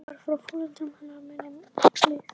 Hún var frá foreldrum hennar minnir mig.